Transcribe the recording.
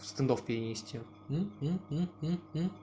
стендов перенести